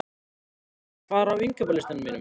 Nenni, hvað er á innkaupalistanum mínum?